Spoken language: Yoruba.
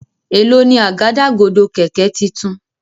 Èló ni Àgádágodo kẹ̀kẹ́ títún?